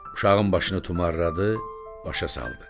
Uşağın başını tumarladı, başa saldı.